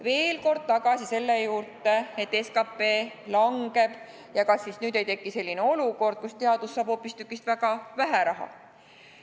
Veel kord tagasi selle juurde, et kas siis, kui SKT langeb, ei teki sellist olukorda, kus teadus saab hoopistükkis väga vähe raha.